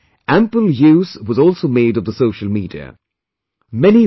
In this mission, ample use was also made of the social media